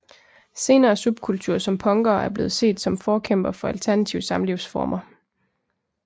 Senere subkulturer som punkere er blevet set som forkæmpere for alternative samlivsformer